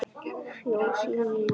Fjós rís